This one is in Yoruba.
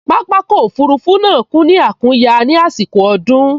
Pápákọ̀ òfurufú náà kún ní àkúnya ní àsìkò ọdún